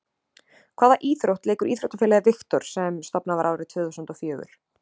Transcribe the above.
Hvaða íþrótt leikur íþróttafélagið Viktor sem stofnað var árið tvö þúsund og fjögur?